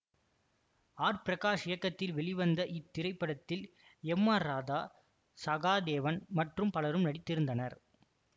R Prakash இயக்கத்தில் வெளிவந்த இத்திரைப்படத்தில் எம் ஆர் ராதா சகாதேவன் மற்றும் பலரும் நடித்திருந்தனர்